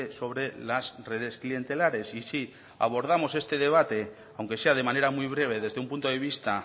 sobre las redes clientelares y si abordamos este debate aunque sea de manera muy breve desde un punto de vista